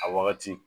A wagati